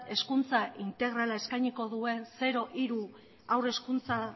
hezkuntza integrala eskainiko duen zero hiru haur hezkuntza